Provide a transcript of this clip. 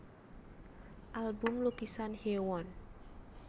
Album Lukisan Hyewon